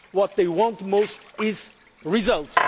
What they want most is results.